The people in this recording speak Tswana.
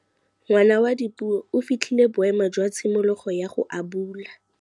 Ngwana wa Dipuo o fitlhile boêmô jwa tshimologô ya go abula.